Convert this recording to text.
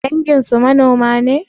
Danginsu manoma ne?